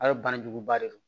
A ye banajuguba de don